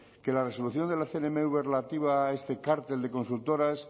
que la resolución de la cnmv relativa a este cártel de consultoras